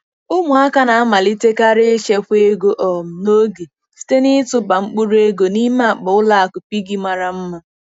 Ụmụaka na-amalitekarị ichekwa ego um n'oge site na-ịtụba mkpụrụ ego n'ime akpa ụlọ akụ piggy mara mma.